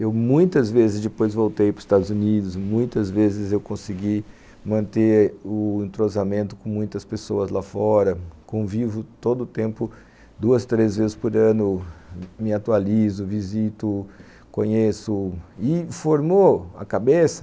Eu muitas vezes depois voltei para os Estados Unidos, muitas vezes eu consegui manter o entrosamento com muitas pessoas lá fora, convivo todo o tempo, duas, três vezes por ano, me atualizo, visito, conheço e formou a cabeça.